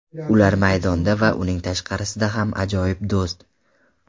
Ular maydonda va uning tashqarisida ham ajoyib do‘st.